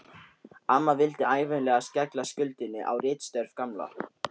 Amma vildi ævinlega skella skuldinni á ritstörf Gamla.